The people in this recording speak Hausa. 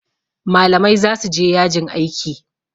malamai za su je yajin aiki